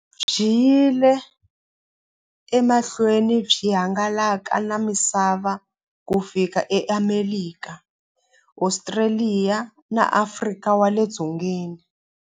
Byi yile emahlweni byi hangalaka na misava ku fika e Amerika, Ostraliya na Afrika wale dzongeni.